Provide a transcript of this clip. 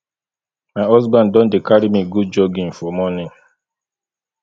my husband don dey carry me go jogging for morning